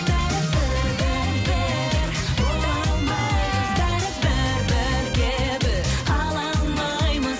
бәрібір бірге біз бола алмаймыз бәрібір бірге біз қала алмаймыз